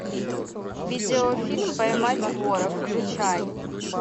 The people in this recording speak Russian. видеофильм поймать вора включай